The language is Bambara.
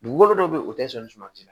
Dugukolo dɔw be yen o tɛ sɔn sumansi la